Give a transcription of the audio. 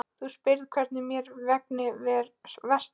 Þú spyrð hvernig mér vegni hér vestra.